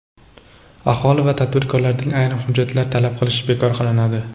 Aholi va tadbirkorlardan ayrim hujjatlarni talab qilish bekor qilinadi.